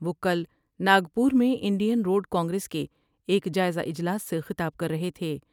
وہ کل ناگپور میں انڈین روڈ کانگریس کے ایک جائزہ اجلاس سے خطاب کررہے تھے۔